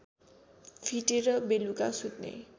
फिटेर बेलुका सुत्ने